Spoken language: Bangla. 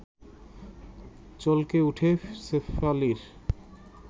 চলকে ওঠে শেফালির